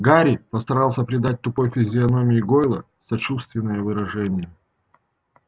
гарри постарался придать тупой физиономии гойла сочувственное выражение